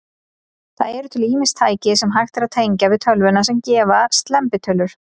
Það eru til ýmis tæki, sem hægt er að tengja við tölvuna, sem gefa slembitölur.